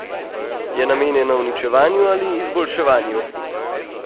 Je namenjena uničevanju ali izboljševanju?